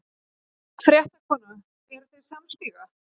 Fréttakona: Eruð þið samstíga?